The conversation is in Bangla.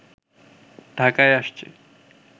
ঢাকায় আসছে